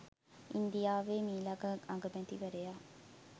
ඉන්දියාවේ මීළඟ අගමැතිවරයා